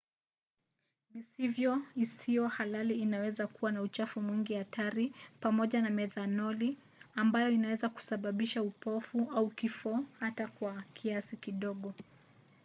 mivinyo isiyo halali inaweza kuwa na uchafu mwingi hatari pamoja na methanoli ambayo inaweza kusababisha upofu au kifo hata kwa kiasi kidogo